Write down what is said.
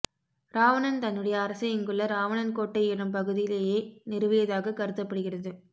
இராவணன் தன்னுடைய அரசை இங்குள்ள இராவணன் கோட்டை எனும் பகுதியிலேயே நிறுவியதாகக் கருதப்படுகிறது